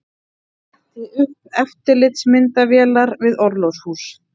Setti upp eftirlitsmyndavélar við orlofshús